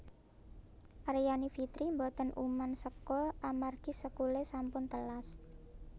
Aryani Fitri mboten uman sekul amargi sekule sampun telas